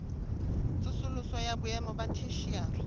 tsosoloso ya boemo ba theshiari